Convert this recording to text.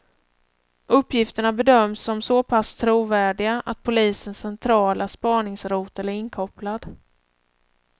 Uppgifterna bedöms som så pass trovärdiga att polisens centrala spaningsrotel är inkopplad.